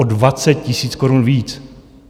O 20 tisíc korun víc.